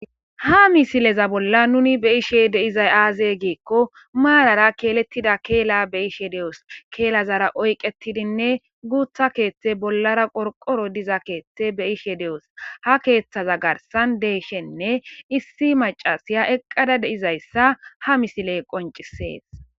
ha misileza bolla nuni be ishe deizay aaze giikko maarara keelettida keela be ishe de7os keelazara oyqetidinne guutha keeththe bollara qorqoro diza keeththe be ishe de7os ha keeththaza garsan deeshenne issi macasiya eqqada deizayssa ha misiley qoncisees